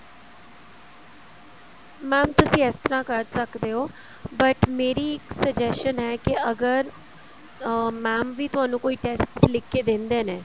mam ਤੁਸੀਂ ਇਸ ਤਰ੍ਹਾਂ ਕਰ ਸਕਦੇ ਓ but ਮੇਰੀ ਇੱਕ suggestion ਹੈ ਕਿ ਅਗਰ ਅਹ mam ਵੀ ਤੁਹਾਨੂੰ ਕੋਈ tests ਲਿਖ ਕੇ ਦਿੰਦੇ ਨੇ